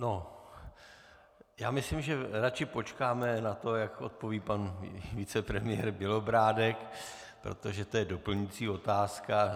No, já myslím, že raději počkáme na to, jak odpoví pan vicepremiér Bělobrádek, protože to je doplňující otázka.